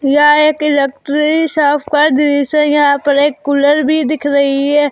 यह एक electric shop का दृश्य है यहां पर एक कुलर भी दिख रही है।